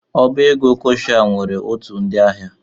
Ọbá égo Kọshal nwere otu ndị ahịa.